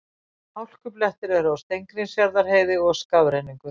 Hálkublettir eru á Steingrímsfjarðarheiði og skafrenningur